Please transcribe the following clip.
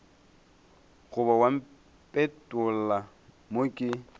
goba wa mpetolla mo ke